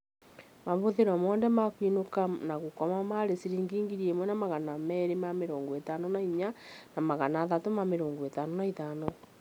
Mahũthĩro mothe ma kũinũka na gũkoma marĩ ciringi 1254 na 355